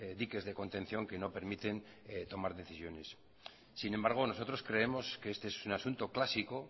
diques de contención que no permiten tomar decisiones sin embargo nosotros creemos que este es un asunto clásico